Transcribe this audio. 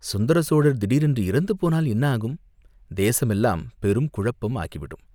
"சுந்தரசோழர் திடீரென்று இறந்துபோனால் என்ன ஆகும்?" "தேசமெல்லாம் பெருங்குழப்பம் ஆகிவிடும்.